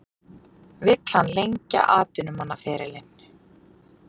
Vill hann lengja atvinnumannaferilinn?